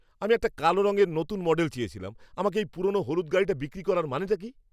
আমি একটা কালো রঙের নতুন মডেল চেয়েছিলাম। আমাকে এই পুরনো হলুদ গাড়িটা বিক্রি করার মানে কি?